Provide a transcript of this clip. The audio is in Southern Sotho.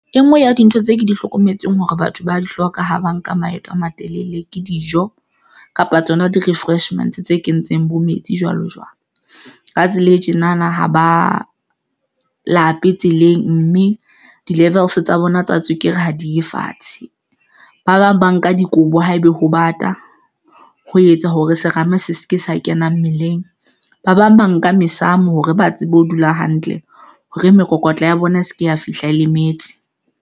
E nngwe ya dintho tse ke di hlokometseng hore batho ba di hloka ha ba nka maeto a matelele ke dijo kapa tsona di-refreshments tse kentseng bo metsi, jwalo jwalo ka tsela e tjena na ha ba lape tseleng, mme di-levels tsa bona tsa tswekere ha di ye fatshe. Ba bang ba nka dikobo haebe ho bata ho etsa hore serame se se ke sa kena mmeleng. Ba bang ba nka mesamo hore ba tsebe ho dula hantle hore mokokotlo ya bona e se ke ya fihla lemetse.